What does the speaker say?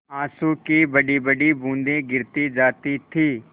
आँसू की बड़ीबड़ी बूँदें गिराती जाती थी